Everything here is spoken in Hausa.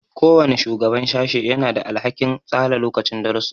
Kowane shugaban sashe yana da alhakin tsara lokacin darussa.